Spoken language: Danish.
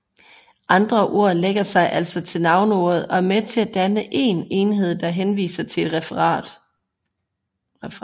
Andre ord lægger sig altså til navneordet og er med til at danne én enhed der henviser til en referent